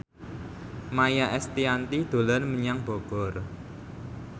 Maia Estianty dolan menyang Bogor